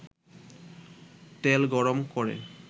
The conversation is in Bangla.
তেল গরম করে